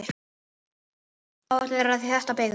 Áætlað er að þétta byggð.